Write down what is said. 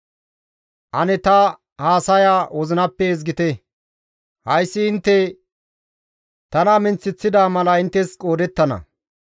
«Ane ta haasaya wozinappe ezgite; hayssi intte tana minththeththida mala inttes qoodettana.